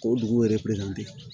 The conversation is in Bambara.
K'o dugu yɛrɛ